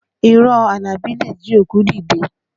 Irọ́ Àlàbí le jí òkú dìde